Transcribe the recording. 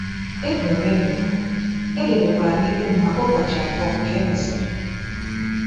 E boro m ebubo, e debekwara ikpe m maka ụbọchị abụọ ka e mesịrị.